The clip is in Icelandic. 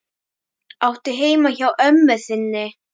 Áttu heima hjá ömmu þinni?